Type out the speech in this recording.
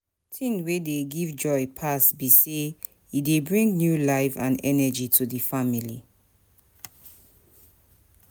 thing wey dey give joy pass be say e dey bring new life and energy to di family.